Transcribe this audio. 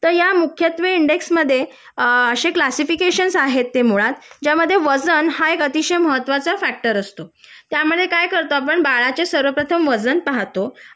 तर मुख्यत्वे या इंडेक्स मध्ये अ आशे क्लासिफिकेशन आहेत ते मुळात ज्यामध्ये वजन हा महत्वाचा फॅक्टर असतो त्यामध्ये काय करतो आपण बाळाचे सर्वप्रथम वजन पाहतो